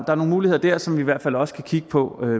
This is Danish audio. er nogle muligheder dér som vi i hvert fald også kan kigge på